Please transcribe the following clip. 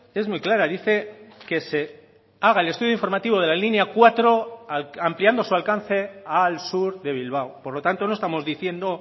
es muy clara dice que se haga el estudio informativo de la línea cuatro ampliando su alcance al sur de bilbao por lo tanto no estamos diciendo